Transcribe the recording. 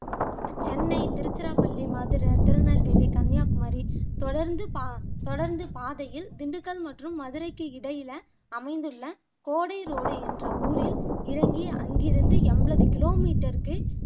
சென்னை, திருச்சிராப்பள்ளி, மதுரை, திருநெல்வேலி, கன்னியாகுமரி தொடர்ந்து பா தொடர்ந்து பாதையில் திண்டுக்கல் மற்றும் மதுரைக்கு இடையில அமைந்துள்ள கோடைரோடு என்ற ஊரில் இறங்கி அங்கிருந்து எம்பது கிலோமீட்டருக்கு